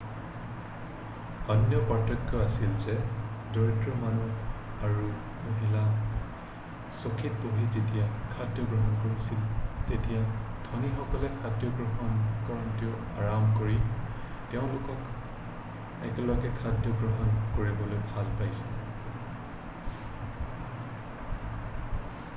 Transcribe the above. অন্য পাৰ্থক্য আছিল যে দৰিদ্ৰ মানুহ আৰু মহিলাই চকীত বহি যেতিয়া খাদ্য গ্ৰহণ কৰিছিল তেতিয়া ধনীসকলে খাদ্য গ্ৰহণ কৰোঁতে আৰাম কৰি তেওঁলোক একেলগে খাদ্য গ্ৰহণ কৰিবলৈ ভাল পাইছিল